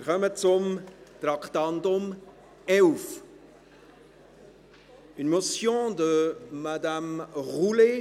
Wir kommen zum Traktandum 11, einer Motion von Grossrätin Roulet: